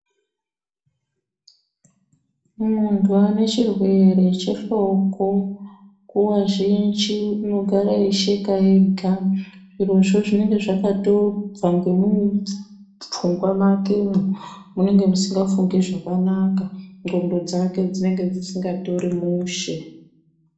Munthu ane chirwere chephloko nguwa zhinji unogara eisheka ega zvirozvo zvinenge zvakabva nemupfungwa makemo munenge musingafungi zvakanaka nhlondo dzake dzinenge dzisingafungi zvakanaka dzisingatori mushe